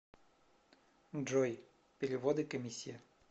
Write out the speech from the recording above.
джой переводы комиссия